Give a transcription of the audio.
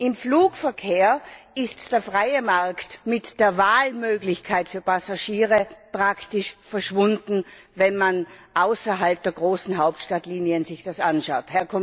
Im Flugverkehr ist der freie Markt mit der Wahlmöglichkeit für Passagiere praktisch verschwunden, wenn man sich das außerhalb der großen Hauptstadtlinien anschaut.